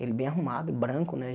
Ele bem arrumado, branco, né?